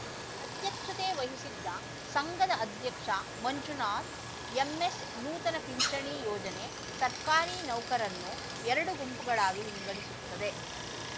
ಅಧ್ಯಕ್ಷತೆ ವಹಿಸಿದ್ದ ಸಂಘದ ಅಧ್ಯಕ್ಷ ಮಂಜುನಾಥ್ ಎಂಎಸ್‌ ನೂತನ ಪಿಂಚಣಿ ಯೋಜನೆ ಸರ್ಕಾರಿ ನೌಕರನ್ನು ಎರಡು ಗುಂಪುಗಳಾಗಿ ವಿಂಗಡಿಸುತ್ತದೆ